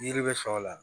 Yiri bɛ sɛw la